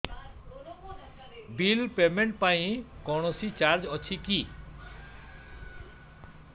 bill payment ପାଇଁ କୌଣସି charge ଅଛି କି